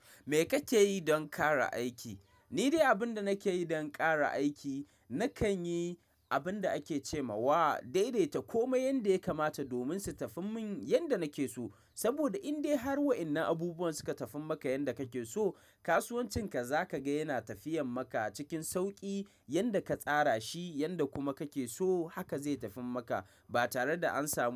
Me kake yi don ƙara aiki? Ni dai abinda nakeyi don ƙara aiki, nakanyi abinda ake cema wa daidaita komai yanda ya kamata domin su tafi min yanda nake so. Saboda indai har wa' innan abubuwan suka tafi maka yanda kake so, kasuwancinka zakaga yana tafiyan maka cikin sauƙi yanda ka tsara shi yanda kuma kake so haka zai tafi maka ba tareda an samu.